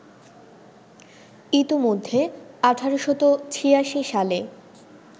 ইতোমধ্যে ১৮৮৬ সালে